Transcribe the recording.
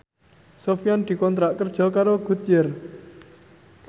Sofyan dikontrak kerja karo Goodyear